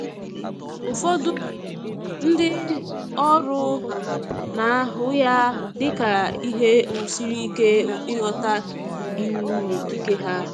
Ụfọdụ ndi oru na ahụ ya dị ka ihe um siri ike um ịghọta iwu na ikike ha